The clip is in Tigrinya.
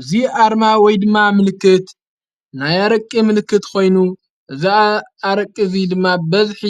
እዙይ ኣርማ ወይ ድማ ምልክት ናይ ኣረቂ ምልክት ኾይኑ፤ እዚ ኣረቂ እዙይ ድማ ብበዝሒ